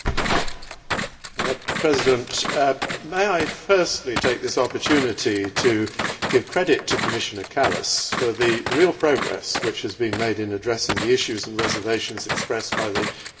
Mr President, may I firstly take this opportunity to give credit to Commissioner Kallas for the real progress which has been made in addressing the issues and reservations expressed by the Court of Auditors.